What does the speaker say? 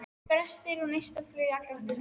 Brestir og neistaflug í allar áttir.